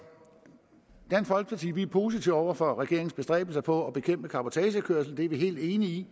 positive over for regeringens bestræbelser på at bekæmpe ulovlig cabotagekørsel det er vi helt enige i